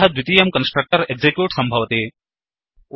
अतः द्वितीयं constructor execute सम्भवति